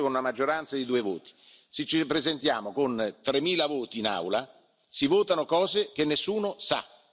Si è deciso con una maggioranza di due voti, se ci ripresentiamo con tremila voti in Aula si votano cose che nessuno sa.